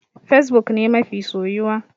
Fesbuk ne mafi soyuwa.